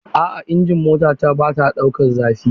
A'a injin motata bata ɗaukan zafi.